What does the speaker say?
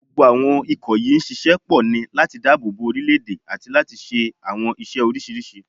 Gbogbo àwọn ikọ̀ yìí ń ṣiṣẹ́ pọ̀ ní láti dáàbò bo orílé-èdè àti láti ṣe àwọn iṣẹ́ oríṣiríṣi